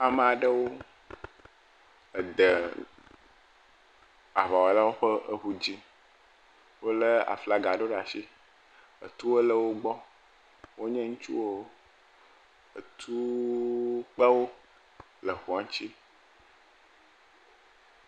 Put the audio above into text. Ame aɖewo, ede aŋawɔlawo ƒe ŋu dzi. Wolé aflaga ɖewo ɖe asi. Tuwo le wo gbɔ, wonye ŋutsuwo. Etuwo kpe wo le ŋua ŋuti.